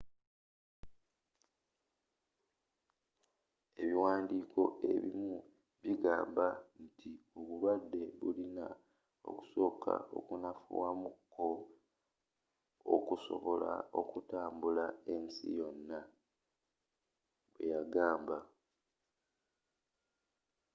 ebiwaandiko ebimu bigamba nti obulwadde bulina okusooka okunafuwa mu ko okusobola okutambula ensi yonna bwe yagamba